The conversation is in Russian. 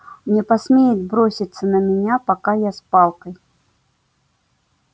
не посмеет броситься на меня пока я с палкой